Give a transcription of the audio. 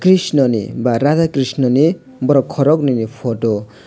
krishna ni ba radha krishna ni borok khoroknwi ni photo.